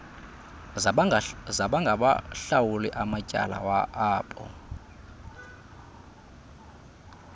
zabangawahlawuli amatyala abo